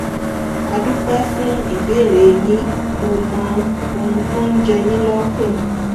a dúpẹ́ fún ìbéèrè yín mo mọ ohun tó ń jẹ yín lọ́kàn